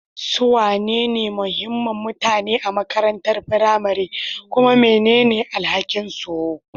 Su wane ne muhimman mutane a makarantar firamare, kuma mene ne alhakinsu?